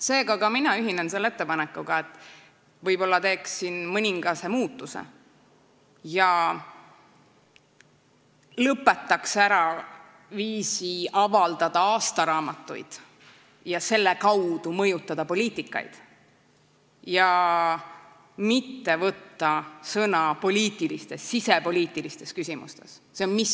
Seega ühinen ka mina selle ettepanekuga, et võib-olla teeks siin muudatuse: lõpetaks ära aastaraamatute avaldamise ja selle kaudu poliitikate mõjutamise ning sisepoliitilistes küsimustes sõna võtmise.